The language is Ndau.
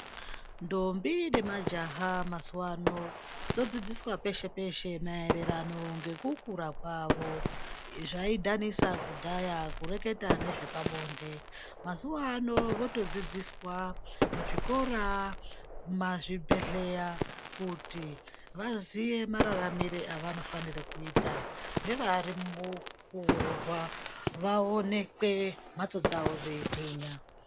Ndombi ne majaha mazuva ano dzo dzidziswa peshe peshe maererano ngeku kura kwavo zvai dhanisa kudhaya kureketa nezve pabonde mazuva ano voto dzidziswa mu zvikora ma zvibhedhleya kuti vaziye mararamire avano fanire kuita nevari muku rorwa vaonekwe mhatso dzavo dzei gwinya.